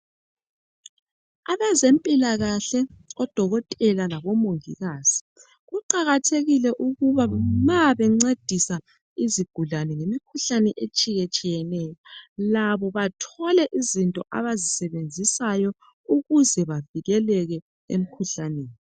Abezempilakahle odokotela labomongikazi kuqakathekile ukuthi nxa bencedisa izigulane imikhuhlane etshiyeneyo labo bathole izinto abazisebenzisayo ukuze bavikeleke emkhuhlaneni